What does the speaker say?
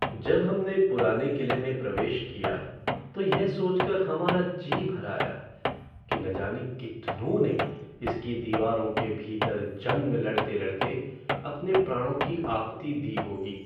जब हमने पुराने किले में प्रवेश किया तो यह सोचकर हमारा जी भर आया कि न जाने कितनों ने इसकी दीवारों के भीतर जंग लड़ते लड़ते अपने प्राणों कि आहुति दी होगी।